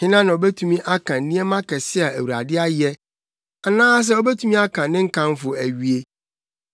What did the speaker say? Hena na obetumi aka nneɛma akɛse a Awurade ayɛ? Anaasɛ obetumi aka ne nkamfo awie?